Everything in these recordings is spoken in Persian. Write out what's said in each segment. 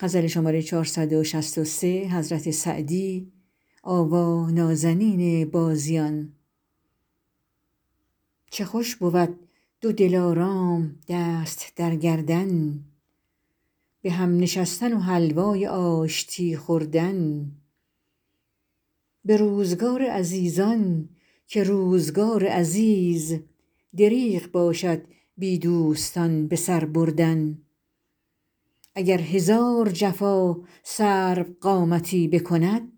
چه خوش بود دو دلارام دست در گردن به هم نشستن و حلوای آشتی خوردن به روزگار عزیزان که روزگار عزیز دریغ باشد بی دوستان به سر بردن اگر هزار جفا سروقامتی بکند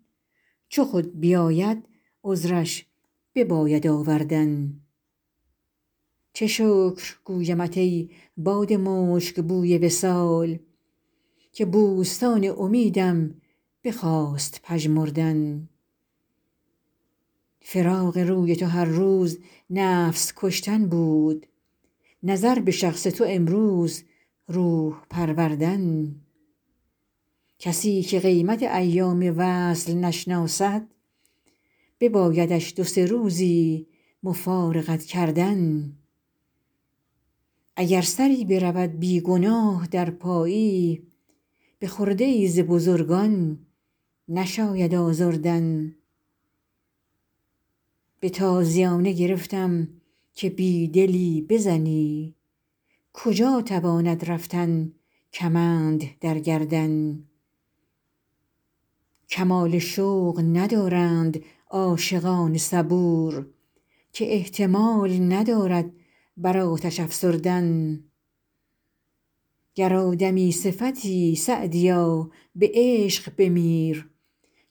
چو خود بیاید عذرش بباید آوردن چه شکر گویمت ای باد مشک بوی وصال که بوستان امیدم بخواست پژمردن فراق روی تو هر روز نفس کشتن بود نظر به شخص تو امروز روح پروردن کسی که قیمت ایام وصل نشناسد ببایدش دو سه روزی مفارقت کردن اگر سری برود بی گناه در پایی به خرده ای ز بزرگان نشاید آزردن به تازیانه گرفتم که بی دلی بزنی کجا تواند رفتن کمند در گردن کمال شوق ندارند عاشقان صبور که احتمال ندارد بر آتش افسردن گر آدمی صفتی سعدیا به عشق بمیر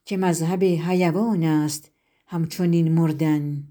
که مذهب حیوان است همچنین مردن